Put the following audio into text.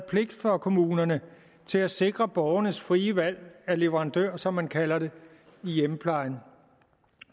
pligt for kommunerne til at sikre borgernes frie valg af leverandør som man kalder det i hjemmeplejen